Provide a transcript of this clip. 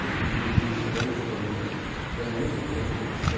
E eu que dirigi esses anos todos, então fizemos muita prospecção.